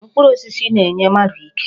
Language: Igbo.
Mkpụrụ osisi na-enye mmadụ ike.